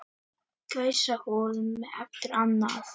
Gæsahúð hvað eftir annað